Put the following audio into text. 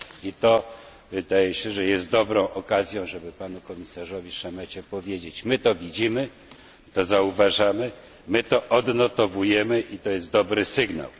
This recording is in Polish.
I to wydaje się, że jest dobrą okazją, żeby panu komisarzowi Šemecie powiedzieć My to widzimy, to zauważamy, my to odnotowujemy i to jest dobry sygnał.